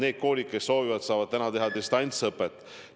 Need koolid, kes soovivad, saavad praegu teha distantsõpet.